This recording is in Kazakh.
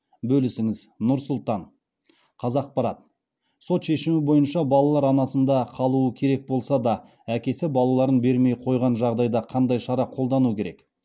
бөлісіңіз нұр сұлтан қазақпарат сот шешімі бойынша балалар анасында қалуы керек болса да әкесі балаларын бермей қойған жағдайда қандай шара қолдану керек